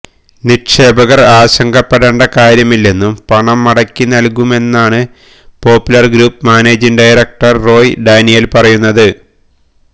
നിക്ഷേപകര് ആശങ്കപ്പെടേണ്ട കാര്യമിെല്ലന്നും പണം മടക്കി നല്കുമെന്നുമാണ് Popular Group managing director Roy Daniel പറയുന്നത്